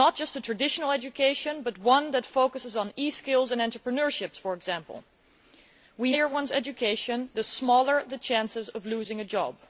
Not just a traditional education but one that focuses on e skills and entrepreneurship for example. We know that the higher one's education is, the lower the chances of losing a job.